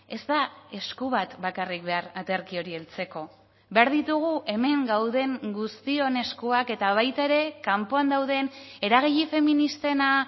ez da esku bat bakarrik behar aterki hori heltzeko behar ditugu hemen gauden guztion eskuak eta baita ere kanpoan dauden eragile feministena